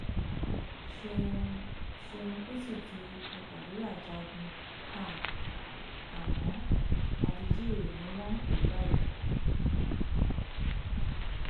ṣéun ṣéun kùtì di afàdúràjagun háàámọ daddy gò ni wọn ń pè é báyìí